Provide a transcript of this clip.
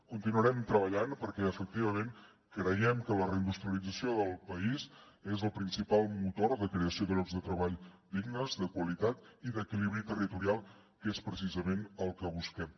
continuarem treballant perquè efectivament creiem que la reindustrialització del país és el principal motor de creació de llocs de treball dignes de qualitat i d’equilibri territorial que és precisament el que busquem